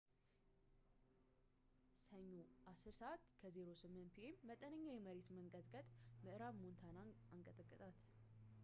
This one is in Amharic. ሰኞ 10:08 ፒ.ኤም መጠነኛ የመሬት መንቀጥቀጥ ምዕራብ ሞንታናን አንቀጠቀጣት